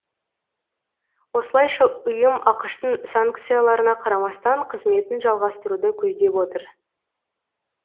осылайша ұйым ақш тың санкцияларына қарамастан қызметін жалғастыруды көздеп отыр